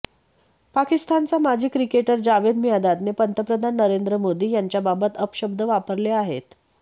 पाकिस्तानचा माजी क्रिकेटर जावेद मियांदादने पंतप्रधान नरेंद्र मोदी यांच्याबाबत अपशब्द वापरले आहेत